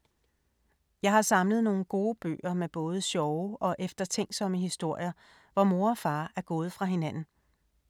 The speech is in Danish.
Jeg har samlet nogle gode bøger med både sjove og eftertænksomme historier, hvor mor og far er gået fra hinanden.